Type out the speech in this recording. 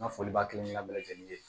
N ka foli b'a kelen na bɛɛ lajɛlen ye